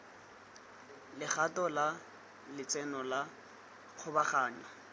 legato la letseno la kgabaganyo